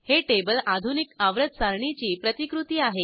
हे टेबल आधुनिक आवर्त सारणीची प्रतिकृती आहे